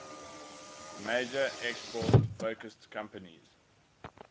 major export focused companies